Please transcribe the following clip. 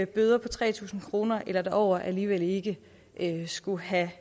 bøder på tre tusind kroner eller derover alligevel ikke skulle have